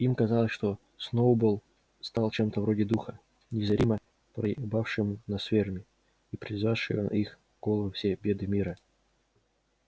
им казалось что сноуболл стал чем-то вроде духа незримо пребывающего на ферме и призывающего на их головы все беды мира